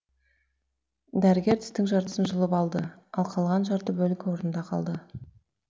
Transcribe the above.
дәрігер тістің жартысын жұлып алды ал қалған жарты бөлігі орнында қалды